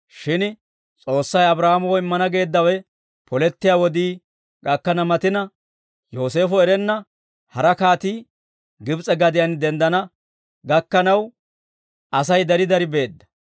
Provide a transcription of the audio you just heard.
«Shin S'oossay Abraahaamoo immana geeddawe polettiyaa wodii gakkana matina, Yooseefo erenna hara kaatii Gibs'e gadiyaan denddana gakkanaw, Asay dari dari beedda.